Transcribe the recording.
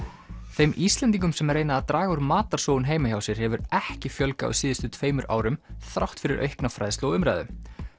þeim Íslendingum sem reyna að draga úr matarsóun heima hjá sér hefur ekki fjölgað á síðustu tveimur árum þrátt fyrir aukna fræðslu og umræðu